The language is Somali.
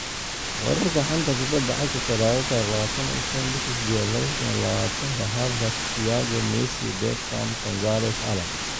Wararka xanta kubada cagta Talaado 25.08.2020: Havertz, Thiago, Messi, Bergkamp, ​​Gonzalez, Allan